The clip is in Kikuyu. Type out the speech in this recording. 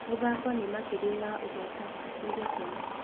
Mũthako nĩ makĩria ya ũhotani nĩ gĩkeno.